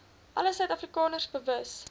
alle suidafrikaners bewus